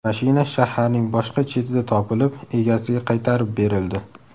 Mashina shaharning boshqa chetida topilib, egasiga qaytarib berildi.